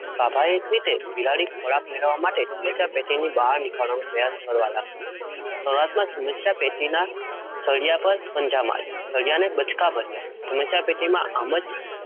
સ્વાભાવિક રીતે બિલાડી ખોરાક મેળવવા માટે સમસ્યા પેટીની બહાર નીકળવાનો પ્રયાસ કરવા લાગી. શરૂઆતમાં સમસ્યા પેટીના સળિયા પર પંજા માર્યા, સળિયાને બચકા ભર્યા સમસ્યા પેટીમાં આમ જ